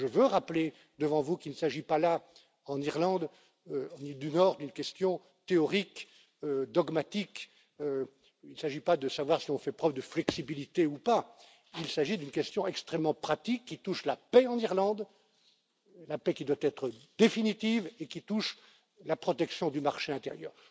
Je veux rappeler devant vous qu'il ne s'agit pas, pour l'Irlande du Nord, d'une question théorique ou dogmatique il ne s'agit pas de savoir si on fait preuve de flexibilité ou pas, il s'agit d'une question extrêmement pratique qui touche à la paix en Irlande, la paix qui doit être définitive, et qui touche à la protection du marché intérieur.